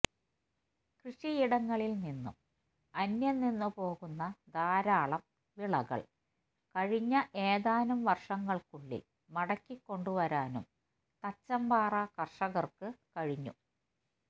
കൃഷിയിടങ്ങളിൽ നിന്നും അന്യംനിന്നുപോകുന്ന ധാരാളം വിളകൾകഴിഞ്ഞ ഏതാനും വർഷങ്ങൾക്കുള്ളിൽ മടക്കി കൊണ്ടുവരാനും തച്ചമ്പാറ കർഷകർക്ക് കഴിഞ്ഞു